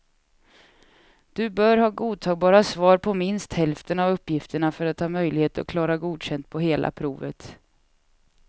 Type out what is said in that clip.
Du bör ha godtagbara svar på minst hälften av uppgifterna för att ha möjlighet att klara godkänd på hela provet.